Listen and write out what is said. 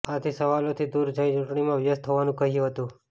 આથી સવાલોથી દૂર જઈ ચૂંટણીમાં વ્યસ્ત હોવાનું કહ્યું હતું